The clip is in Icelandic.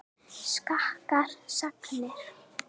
Skakkar sagnir.